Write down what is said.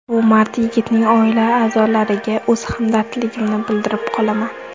Bu mard yigitning oila a’zolariga o‘z hamdardligimni bildirib qolaman.